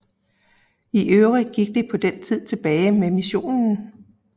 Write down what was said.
I øvrigt gik det på den tid tilbage med missionen